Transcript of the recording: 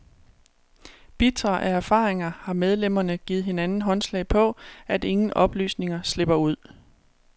Bitre af erfaringer har medlemmerne givet hinanden håndslag på, at ingen oplysninger slipper ud.